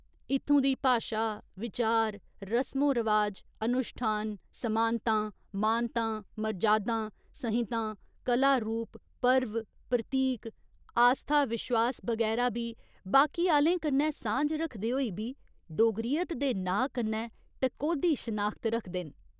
इत्थूं दी भाशा, विचार, रसमो रवाज, अनुश्ठान, समानतां, मानतां, मर्जादां, संहितां, कला रूप, पर्व, प्रतीक, आस्था विश्वास बगैरा बी बाकी आह्‌लें कन्नै सांझ रखदे होई बी 'डोगरियत' दे नांऽ कन्नै टकोह्दी शनाखत रखदे न।